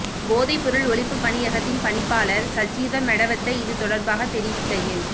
போதைப்பொருள் ஒழிப்பு பணியகத்தின் பணிப்பாளர் சஜீவ மெடவத்த இது தொடர்பாக தெரிவிக்கையில்